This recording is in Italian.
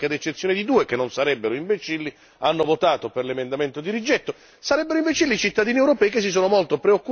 sarebbero imbecilli tutti i componenti della commissione agricoltura che, ad eccezione di due che non sarebbero imbecilli, hanno votato per l'emendamento di rigetto